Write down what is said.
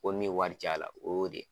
Ko minwari caya la o y'o de